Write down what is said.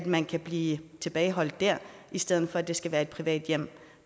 man kan blive tilbageholdt i stedet for at det skal være i et privat hjem